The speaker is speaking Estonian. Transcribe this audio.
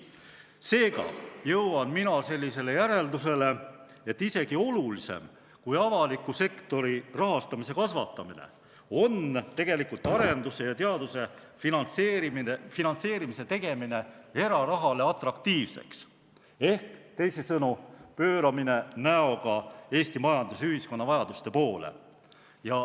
Seega jõuan mina sellisele järeldusele, et isegi olulisem kui avaliku sektori rahastamise kasvatamine on tegelikult arenduse ja teaduse finantseerimise erarahale atraktiivseks tegemine, ehk teisisõnu, pööramine näoga Eesti majanduse ja ühiskonna vajaduste poole.